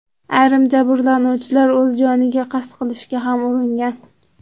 Ayrim jabrlanuvchilar o‘z joniga qasd qilishga ham uringan.